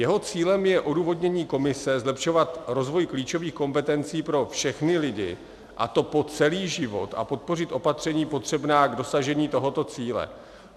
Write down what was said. Jeho cílem je odůvodnění Komise zlepšovat rozvoj klíčových kompetencí pro všechny lidi, a to po celý život, a podpořit opatření potřebná k dosažení tohoto cíle.